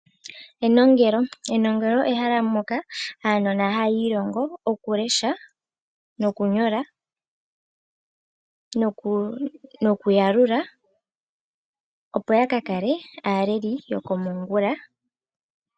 Enongelo, enongelo ehala moka aanona haya ilongo okulesha, okunyola nokuyalula opo yakakale aaleleli yokomongula.